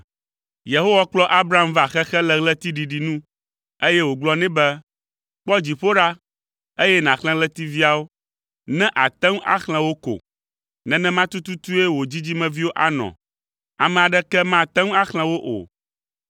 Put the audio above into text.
Yehowa kplɔ Abram va xexe le ɣletiɖiɖi nu, eye wògblɔ nɛ be, “Kpɔ dziƒo ɖa, eye nàxlẽ ɣletiviawo, ne àte ŋu axlẽ wo ko. Nenema tututue wò dzidzimeviwo anɔ; ame aɖeke mate ŋu axlẽ wo o!”